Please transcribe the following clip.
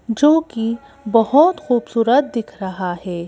जोकि बहुत खूबसूरत दिख रहा है।